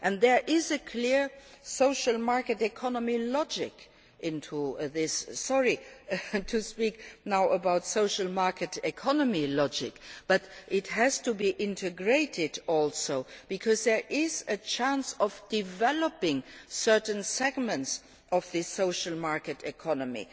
in this House. There is a clear social market economy logic here. Sorry to speak now about social market economy logic, but it also has to be integrated, because there is a chance to develop certain segments of the social